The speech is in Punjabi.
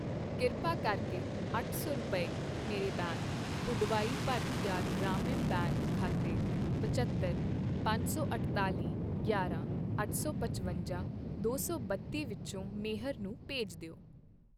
ਕਿਰਪਾ ਕਰਕੇ ਅੱਠ ਸੌ ਰੁਪਏ, ਮੇਰੇ ਬੈਂਕ ਪੁਡੁਵਾਈ ਭਰਥਿਅਰ ਗ੍ਰਾਮ ਬੈਂਕ ਖਾਤੇ ਪਝੱਤਰ, ਪੰਜ ਸੌ ਅੱਠਤਾਲੀ, ਗਿਆਰ੍ਹਾਂ, ਅੱਠ ਸੌ ਪਚਵੰਜਾ, ਦੋ ਸੌ ਬੱਤੀ ਵਿਚੋਂ ਮੇਹਰ ਨੂੰ ਭੇਜ ਦਿਓ